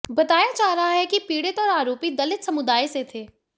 बताया जा रहा है कि पीड़ित और आरोपी दलित समुदाय से थे